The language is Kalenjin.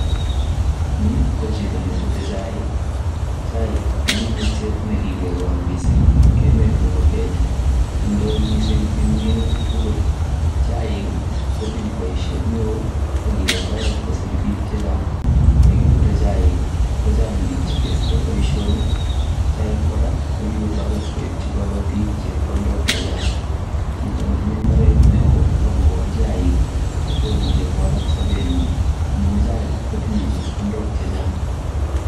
Nii ko chito ne Bute chaik ,chaik ko minutiet nee kikekol mising eng emet nebo Kenya indoi mising eng minutik tugul chaik kotinye boishet neo ak kikotoret kosir biik che Chang nyee minute chaik kochang biik che kesire boisonik chaik kora kikotoret koib kobotik chebkondok che Chang chito nee tinye ibaret neo ako kol chaik komuche kowalak sobenyi amuu chaik kotinye chebkondok che Chang